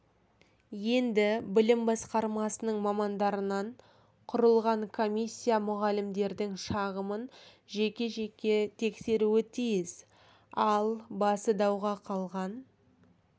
енді білім басқармасының мамандарынан құрылған комиссия мұғалімдердің шағымын жеке жеке тексеруі тиіс ал басы дауға қалған